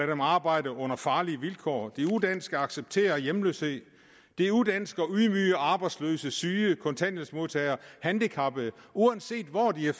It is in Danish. dem arbejde under farlige vilkår det er udansk at acceptere hjemløshed det er udansk at ydmyge arbejdsløse syge kontanthjælpsmodtagere og handicappede uanset hvor de er